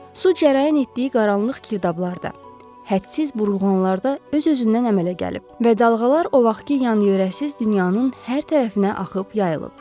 Su cərəyan etdiyi qaranlıq girdablarda, hədsiz burulğanlarda öz-özündən əmələ gəlib və dalğalar o vaxtkı yanı-yörəsiz dünyanın hər tərəfinə axıb yayılıb.